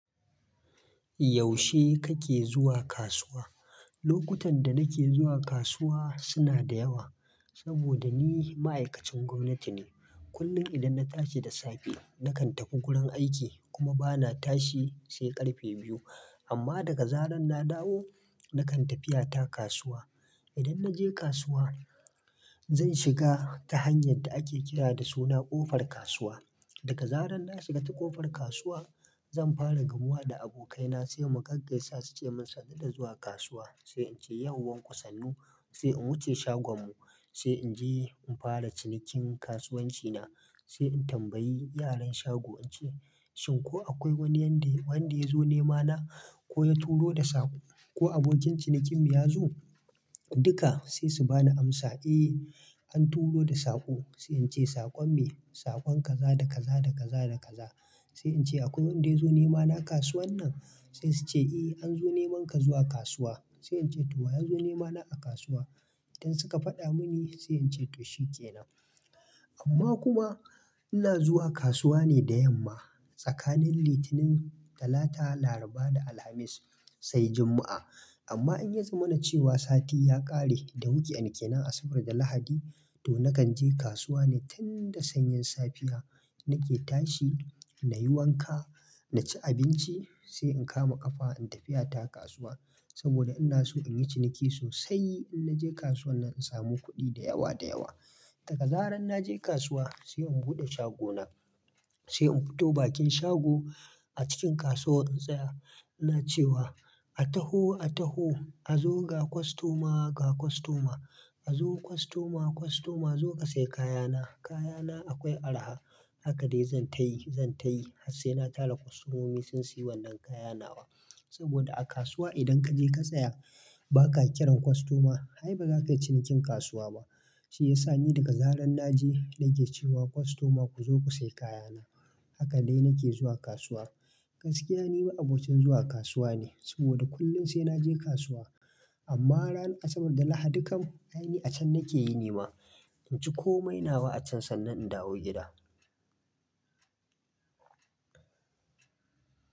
Yaushe kake zuwa kasuwa? Lokutan da nake zuwa kasuwa suna da yawa, saboda ni ma'aikacin gwamnati ne. Kullum idan na tashi da safe, nakan tafi gurin aiki kuma bana tashi sai ƙarfe biyu. Amma daga zarar na dawo, nakan tafiyata kasuwa. Idan na je kasuwa, zan shiga ta hanyar da ake kira da suna ƙofar kasuwa. Daga zarar na shiga ta ƙofar kasuwa, zan fara gamuwa da abokaina sai mu gaggasa suce mun sadar da zuwa kasuwa. Sai ince, "yau wanku sannu?" Sai in wuce shagon mu, sai in je in fara cinikin kasuwanci na, sai in tambayi yaran shago ince, "shin ko akwai wani wanda ya zo nema na ko ya turo da saƙo, ko abokin cinikin mu ya zo?" Duka sai su bani amsa, "eh an turo da saƙo." Sai ince, "saƙon me?" "Saƙon kaza da kaza da kaza da kaza." Sai ince, "akwai wanda ya zo nema na kasuwan nan?" Sai suce, "eh an zo neman ka zuwa kasuwa." Sai ince, "to wa ya zo nema na a kasuwa?" Idan suka faɗa muni, sai ince, "to shikenan." Amma kuma ina zuwa kasuwa ne da yamma, tsakanin Litinin, Talata, Laraba da Alhamis sai Juma'a. Amma in ya zama na cewa sati ya ƙare da muke hutun mako Asabar da Lahadi, to nakan je kasuwa ne tun da sanyen safiya nake tashi, nayi wanka, naci abinci sai in kama ƙafa in tafiyata kasuwa. Saboda ina so in yi ciniki sosai, in na je kasuwan nan, in samu kuɗi da yawa da yawa. Daga zarar na je kasuwa, sai in buɗe shago na, sai in fito bakin shago a cikin kasuwar tsaya ina cewa, "a taho, a taho, a zo ga kostoma, ga kostoma, a zo kostoma, kostoma zo ka siya kayana. Kayana akwai araha." Haka dai zan tayi, zan tayi har sai na tara kostomomi sun siyo wannan kayan nawa. Saboda a kasuwa idan ka je ka tsaya ba ka kiran kostoma, ai baza ka yi cinikin kasuwa ba. Shi yasa ni daga zarar na je nake cewa, "kostoma ku zo ku sai kayana." Haka dai nake zuwa kasuwa. Gaskiya ni ma abokin zuwa kasuwa ne, saboda kullum sai naje kasuwa. Amma ran Asabar da Lahadi kam, ai ni a can nake yi nema. In ci komai nawa a can sannan in dawo gida.